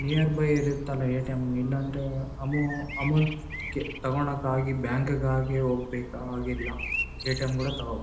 Near by ಇರುತ್ತಲ್ಲ ATM. ಇಲ್ಲಾಂದ್ರೆ ಅಮೊ ಅಮೌಂಟ್ ಕೆ ತಗೋಳಕ್ಕಾಗಿ ಬ್ಯಾಂಕ್ ಕಾಗಿ ಹೋಗ್ಬೇಕಾಗಿಲ್ಲ ಎ.ಟಿ.ಎಮ್. ಕೂಡ ತಗೋಬಹುದು.